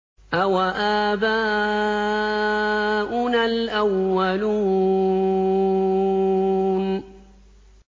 أَوَآبَاؤُنَا الْأَوَّلُونَ